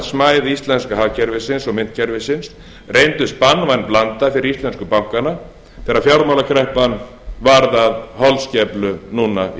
smæð íslenska hagkerfisins og myntkerfisins reyndust banvæn blanda fyrir íslensku bankana þegar fjármálakreppan varð að holskeflu núna í